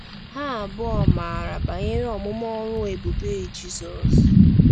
Ha abụọ maara banyere ọmụmụ ọrụ ebube Jizọs.